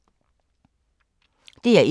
DR1